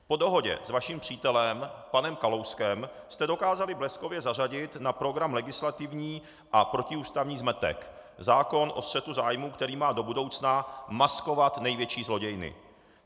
Po dohodě s vaším přítelem panem Kalouskem jste dokázali bleskově zařadit na program legislativní a protiústavní zmetek, zákon o střetu zájmů, který má do budoucna maskovat největší zlodějny.